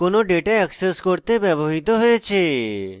এটি লুকানো data access করতে ব্যবহৃত হয়েছে